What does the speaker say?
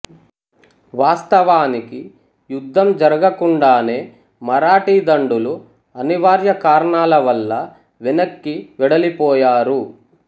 వాస్తవానికి యుధ్ధం జరుగకుండానే మరాఠీదండులు అనివర్య కారణాలవల్ల వెనక్కి వెడలిపోయారు